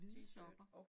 Hvide sokker